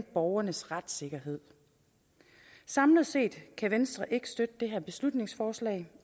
borgernes retssikkerhed samlet set kan venstre ikke støtte det her beslutningsforslag